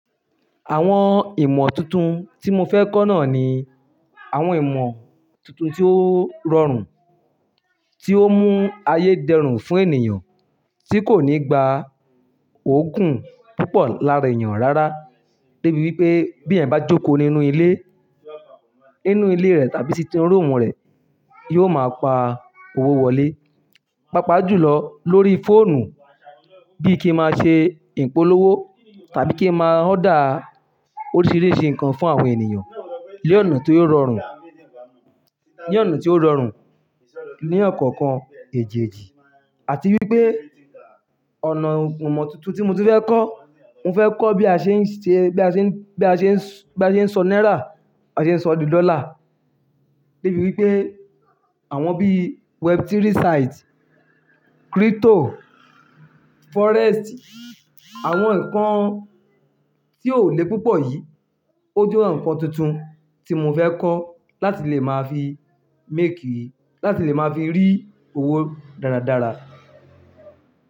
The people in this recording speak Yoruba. Àwọn ìmọ̀ tuntun tí mo fẹ́ kọ́ náà ni àwọn ìmọ̀ tuntun tí ó rọrùn, tí ó mú ayé dẹrùn fún ènìyàn tí kò ní gba ògùn púpọ̀ lára èèyàn rárá. Débi wípé bí ẹ̀yan bá jókòó nínú ilé, nínú ilé rẹ tàbí sí inú room rẹ, yóò máa pa owó wọlé. Pápá jù lọ lórí fóònù bí kí ẹ máa ṣe ìpolówó tàbí kí ẹ máa order oríṣìíríṣìí nǹkan fún àwọn ènìyàn ni ọ̀nà tí ò rọrùn, ni ọ̀nà tí ó rọrùn ní ọ̀kọ̀ọ̀kan èjèjì àti wípé Imọ̀ tuntun tí mo tu fẹ́ kọ́, mo fẹ́ kọ́ bí a ṣe ń sọ náírà, bí a ṣe ń sọ di dollar. Débi wípé àwọn bí web3 site, crypto, forex si, àwọn nǹkan tí ò lé púpọ̀ yìí, ó jẹ́ àwọn nǹkan tuntun tí mo fẹ́ kọ́ láti lè máa fi make, láti lè máa fi rí owó dáradára.